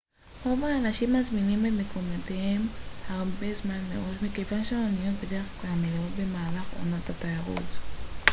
רוב האנשים מזמינים את מקומותיהם הרבה זמן מראש מכיוון שהאניות בדרך-כלל מלאות במהלך עונת התיירות